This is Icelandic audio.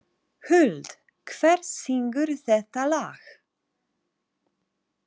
Huld, hver syngur þetta lag?